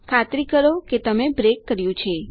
ખાતરી કરો કે તમે બ્રેક કર્યું છે